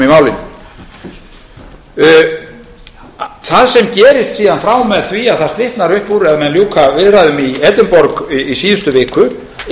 að ná samningum í málinu það sem gerist síðan frá og með því að það slitnar upp úr ef menn ljúka viðræðum í edinborg í síðustu viku